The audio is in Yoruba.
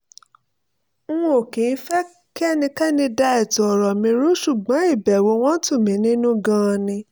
n ò kì í fẹ́ kí ẹnikẹ́ni dá ètò ọ̀rọ̀ mi rú ṣùgbọ́n ìbẹ̀wò wọn tù mí nínú gan-an ni